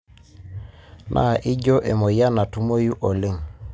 Na ijio emoyian natumoyu oleng.